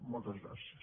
moltes gràcies